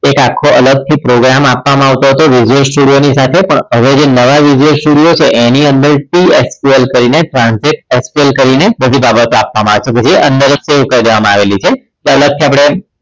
આખો અલગથી program આપવામાં આવતો હતો visual studio ની સાથે પણ હવે જે નવા visual studio છે એની અંદર two SQL કરીને સાથે SQL કરીને બધી બાબતો આપવામાં આવે છે પછી અંદર store કરી દેવામાં આવી છે અલગથી આપણે